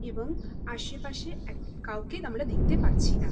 এবং আশেপাশে এক কাউকেই আমরা দেখতে পাচ্ছি না।